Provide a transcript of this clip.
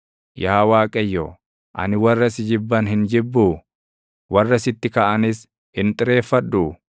Yaa Waaqayyo, ani warra si jibban hin jibbuu? Warra sitti kaʼanis hin xireeffadhuu?